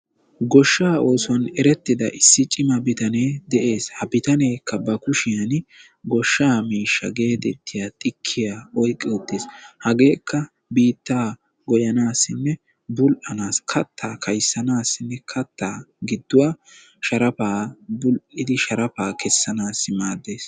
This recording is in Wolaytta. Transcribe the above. Goshsha oosuwaan eretida issi cima bitanee de'ees. ha bitaanekka bar kushiyaan goshsha miishsha getettiya tikkiya oyqqi uttiis. hagekka biitta gooyanissine bull''anassi kattaa kayssanassinne katta gidduwaa bull''idi sharafa kessanassi maaddees.